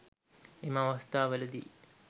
එම අවස්ථා වලදී